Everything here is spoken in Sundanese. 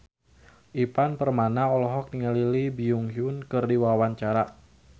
Ivan Permana olohok ningali Lee Byung Hun keur diwawancara